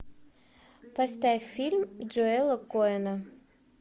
поставь фильм джоэла коэна